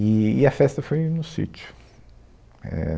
E, e a festa foi no sítio. É